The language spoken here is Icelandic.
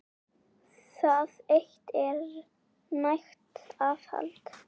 Það eitt er nægt aðhald.